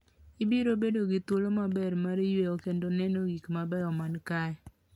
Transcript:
Ibiro bedo gi thuolo maber mar yueyo kendo neno gik mabeyo man kae.